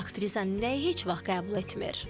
Aktrisa nəyi heç vaxt qəbul etmir?